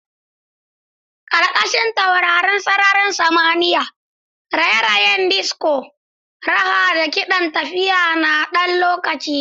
Ƙarƙashin taurarin sararin samaniya, raye-rayen disco, raha da kiɗan tafiya na ɗan lokaci.